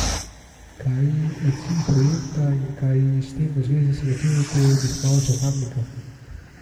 Kaj je cilj projekta in kaj s tem v zvezi svetujete obiskovalcem Kamnika?